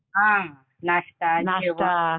हां नाश्ता जेवण